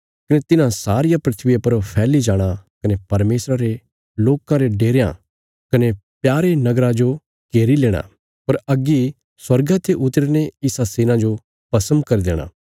कने तिन्हां सारिया धरतिया पर फैल्ली जाणा कने परमेशरा रे लोकां रे डेरयां कने प्यारे नगरा जो घेरी लेणा पर अग्गी स्वर्गा ते उतरीने इसा सेना जो भस्म करी देणा